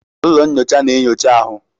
Ụlọ nnyocha na-enyocha ahụ.